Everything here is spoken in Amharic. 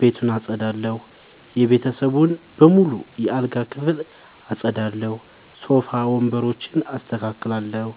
ቤቱን አጠዳለሁ። የቤተሰቡን በሙሉ የአልጋ ክፍል አጠዳለሁ። ሶፋ ወንበሮችን አስተካክላለሁ።